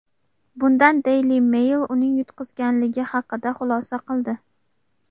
Bundan Daily Mail uning yutqizganligi haqida xulosa qildi.